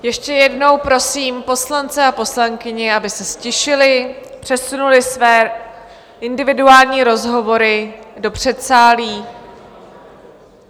Ještě jednou prosím poslance a poslankyně, aby se ztišili, přesunuli své individuální rozhovory do předsálí.